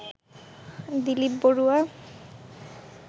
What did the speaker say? Dilip Barua